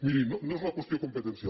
miri no és una qüestió competencial